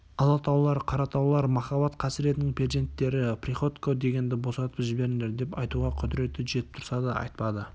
алатаулар қаратаулар махаббат қасіретінің перзенттері приходько дегенді босатып жіберіңдер деп айтуға құдіреті жетіп тұрса да айтпады